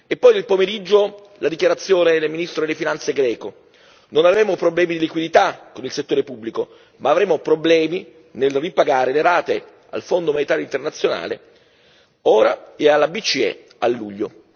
E poi, nel pomeriggio, la dichiarazione del ministro delle Finanze greco non avremo problemi di liquidità nel settore pubblico, ma avremo problemi nel ripagare le rate al Fondo monetario internazionale ora e alla BCE a luglio.